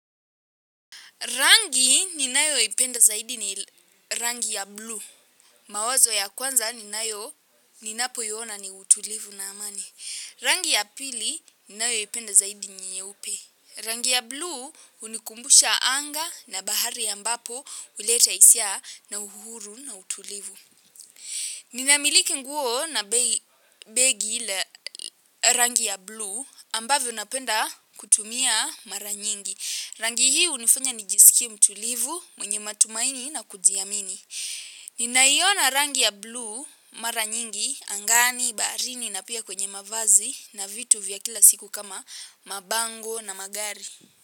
Rangi ninayoipenda zaidi ni rangi ya blue. Mawazo ya kwanza ninayo ninapoiona ni utulivu na amani. Rangi ya pili ninayoipenda zaidi nyeupe. Rangi ya blue unikumbusha anga na bahari ambapo uleta isia na uhuru na utulivu. Ninamiliki nguo na begi la rangi ya blue ambavyo napenda kutumia mara nyingi. Rangi hii unifanya nijisikie mtulivu mwenye matumaini na kujiamini. Ninaiona rangi ya blue mara nyingi, angani, baharini na pia kwenye mavazi na vitu vya kila siku kama mabango na magari.